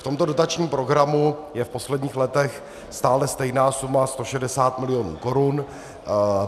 V tomto dotačním programu je v posledních letech stále stejná suma 160 mil. korun.